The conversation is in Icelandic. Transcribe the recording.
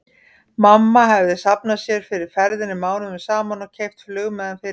Mamma hefði safnað sér fyrir ferðinni mánuðum saman og keypt flugmiðann fyrir löngu.